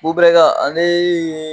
Kobɛrɛka ale ye